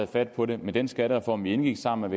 fat på det med den skattereform vi indgik sammen